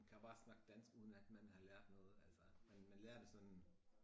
Kan bare snak dansk uden at man har lært noget altså men man lærer det sådan